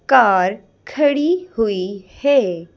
Car खड़ी हुई है।